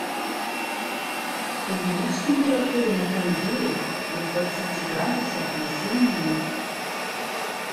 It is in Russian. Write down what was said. увеличь температуру на кондее до двадцати градусов на семь минут